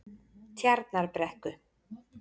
Tjarnarbrekku